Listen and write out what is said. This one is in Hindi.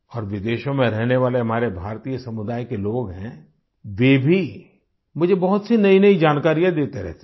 और विदेशों में रहने वाले हमारे भारतीय समुदाय के लोग हैं वे भी मुझे बहुत सी नईनई जानकारियाँ देते रहते हैं